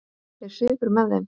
Er svipur með þeim?